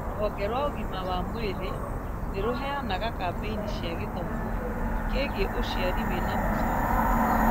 Rũhonge rwa ũgima wa mwĩrĩ nĩrũheanaga kambĩini cia gĩthomo kĩgiĩ ũciari wĩna mũbango